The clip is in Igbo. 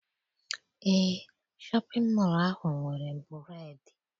Eé, shọpịn mọọ ahụ nwere bureedị.